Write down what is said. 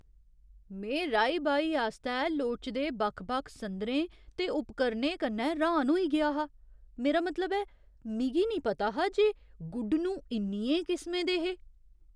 में राही बाही आस्तै लोड़चदे बक्ख बक्ख संदरें ते उपकरणें कन्नै र्‌हान होई गेआ हा। मेरा मतलब ऐ, मिगी निं पता हा जे गुडनूं इन्नियें किसमें दे हे ?